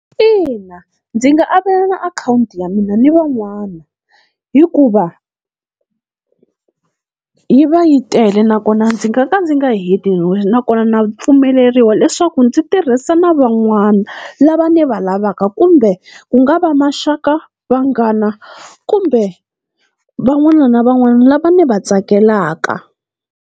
Ina ndzi nga avelana akhawunti ya mina ni van'wana hikuva yi va yi tele, nakona ndzi nga ka ndzi nga heti nakona na pfumeleriwa leswaku ndzi tirhisa na van'wana lava ni va lavaka, kumbe ku nga va maxaka, vanghana kumbe van'wana na van'wana lava ni va tsakelaka.